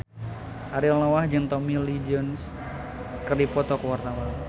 Ariel Noah jeung Tommy Lee Jones keur dipoto ku wartawan